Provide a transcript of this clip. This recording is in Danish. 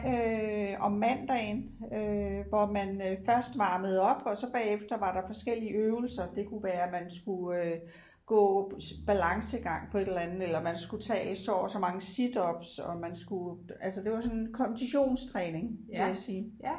Øh om mandagen øh hvor man først varmede op og så bagefter var der forskellige øvelser det kunne være man skulle øh gå balancegang på et eller andet eller man skulle tage så og så mange situps og man skulle altså det var sådan konditionstræning vil jeg sige